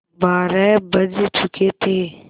बारह बज चुके थे